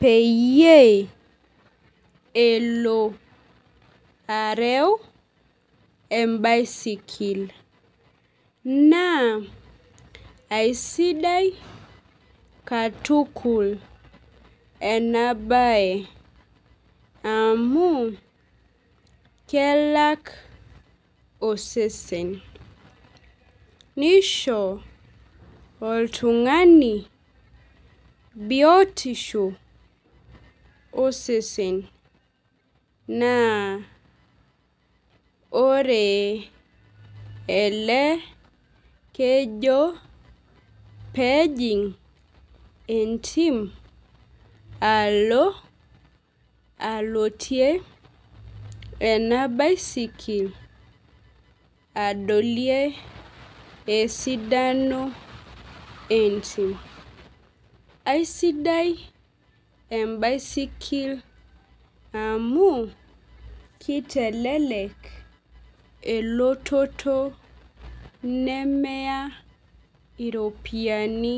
peeyie elo areu ebaisikil. Naa aisidai katukul ena bae amu kelak osesen nisho oltung'ani biotisho osesen naa ele kejo pejing' entim alo aalotie ena baisikil edalie esidano entim. Aisidai ebaisikil amu keilelek elototo nemeya iropiani.